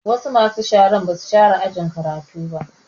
Wasu masu sharan ba su share ajin karatu